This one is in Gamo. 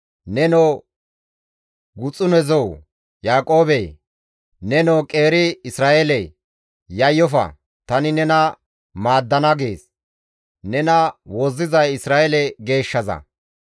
Nenoo guxunezoo Yaaqoobe, nenoo qeeri Isra7eele, ‹Yayyofa tani nena maaddana› gees. Nena wozzizay Isra7eele Geeshshaza.